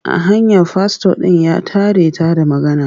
A hanya fastor ɗin ya tare ta da magana.